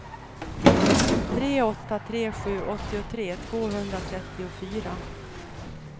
tre åtta tre sju åttiotre tvåhundratrettiofyra